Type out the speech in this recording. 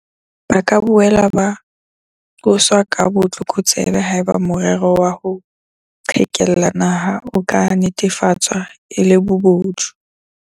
Ba ka boela ba qoswa ka botlokotsebe haeba morero wa ho qhekella naha o ka netefatswa e le bobodu.